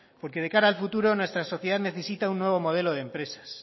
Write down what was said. porque de cara al futuro nuestra sociedad necesita un nuevo modelo de empresas